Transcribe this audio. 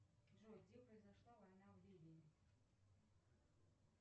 джой где произошла война в ливии